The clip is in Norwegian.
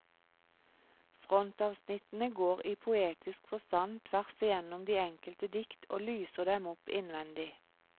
Frontavsnittene går i poetisk forstand tvers igjennom de enkelte dikt og lyser dem opp innvendig.